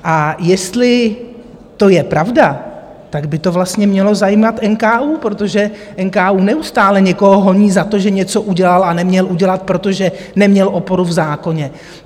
A jestli to je pravda, tak by to vlastně mělo zajímat NKÚ, protože NKÚ neustále někoho honí za to, že něco udělal a neměl udělat, protože neměl oporu v zákoně.